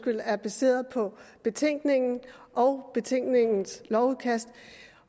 er baseret på betænkningen og betænkningens lovudkast